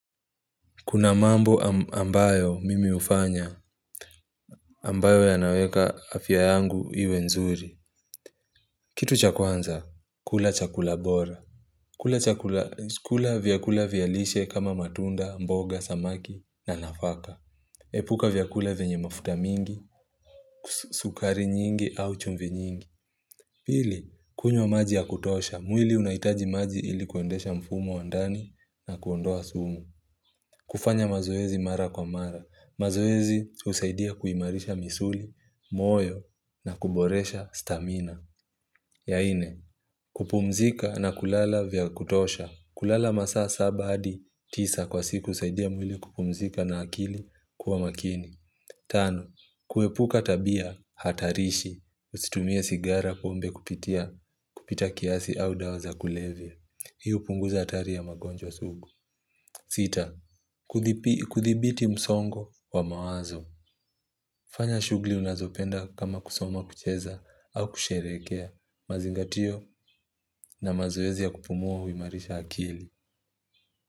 Kuna mambo ambayo mimi hufanya ambayo yanaweka afya yangu iwe nzuri. Kitu cha kwanza, kula chakula bora. Kula chakula, kula vyakula vialishe kama matunda, mboga, samaki na nafaka. Epuka vyakula venye mafuta mingi, sukari nyingi au chumvi nyingi. Pili, kunywa maji ya kutosha. Mwili unahitaji maji ili kuendesha mfumo wa ndani na kuondoa sumu. Kufanya mazoezi mara kwa mara. Mazoezi husaidia kuimarisha misuli, moyo na kuboresha stamina ya ine, kupumzika na kulala vyakutosha kulala masaa saba hadi tisa kwa siku husaidia mwili kupumzika na akili kuwa makini Tano, kuepuka tabia hatarishi. Usitumie sigara, pombe kupitia kupita kiasi au dawa za kulevya. Hii hupunguza hatari ya magonjwa sugu sita, kuthibi kuthibiti msongo wa mawazo fanya shugli unazopenda kama kusoma kucheza au kusherekea, mazingatio na mazoezi ya kupumua huimarisha akili.